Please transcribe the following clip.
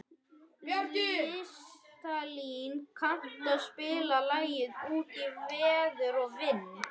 Listalín, kanntu að spila lagið „Út í veður og vind“?